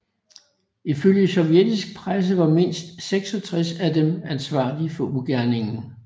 Ifølge sovjetisk presse var mindst 66 af dem ansvarlige for ugerningen